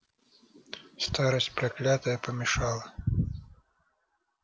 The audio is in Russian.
старость проклятая помешала